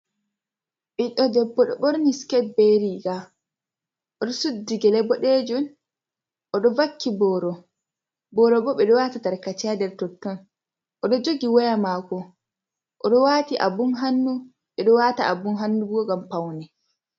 Ɓiɗɗo debbo ɗo ɓorni siket be riga, o ɗo suddi gele boɗeejun. O ɗo wakki booro. Booro bo ɓe ɗo wata tarkace ha nder totton. O ɗo jogi waya maako, o ɗo wati abun hannu. Ɓe ɗo wata abun hannu bo ngam paune.